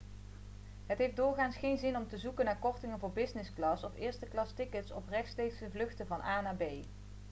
het heeft doorgaans geen zin om te zoeken naar kortingen voor business class of eersteklastickets op rechtstreekse vluchten van a naar b